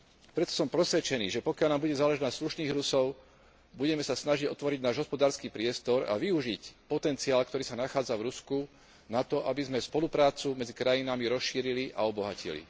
Preto som presvedčený, že pokiaľ nám bude záležať na slušných Rusoch, budeme sa snažiť otvoriť náš hospodársky priestor a využiť potenciál, ktorý sa nachádza v Rusku na to, aby sme spoluprácu medzi krajinami rozšírili a obohatili.